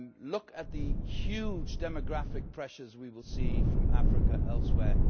Look at the huge demographic pressures we will see from Africa and elsewhere.